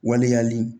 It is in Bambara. Waleyali